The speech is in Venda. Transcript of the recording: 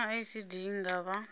naa icd i nga vha